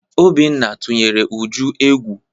Obinna tụnyere Uju egwu.